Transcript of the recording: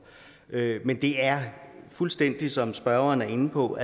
men det er fuldstændig som spørgeren er inde på